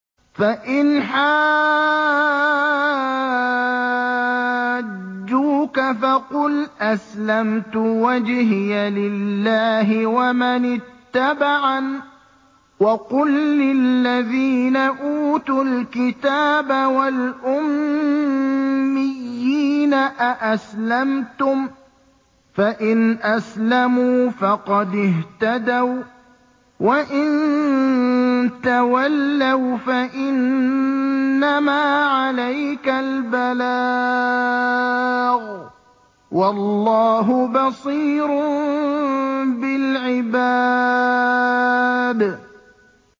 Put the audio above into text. فَإِنْ حَاجُّوكَ فَقُلْ أَسْلَمْتُ وَجْهِيَ لِلَّهِ وَمَنِ اتَّبَعَنِ ۗ وَقُل لِّلَّذِينَ أُوتُوا الْكِتَابَ وَالْأُمِّيِّينَ أَأَسْلَمْتُمْ ۚ فَإِنْ أَسْلَمُوا فَقَدِ اهْتَدَوا ۖ وَّإِن تَوَلَّوْا فَإِنَّمَا عَلَيْكَ الْبَلَاغُ ۗ وَاللَّهُ بَصِيرٌ بِالْعِبَادِ